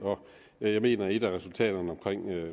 jeg mener at et af resultaterne